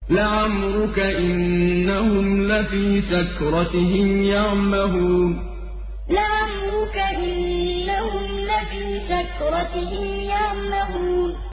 لَعَمْرُكَ إِنَّهُمْ لَفِي سَكْرَتِهِمْ يَعْمَهُونَ لَعَمْرُكَ إِنَّهُمْ لَفِي سَكْرَتِهِمْ يَعْمَهُونَ